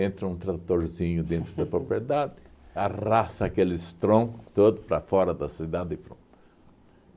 Entra um tratorzinho dentro da propriedade, arrasta aqueles troncos todos para fora da cidade e pronto.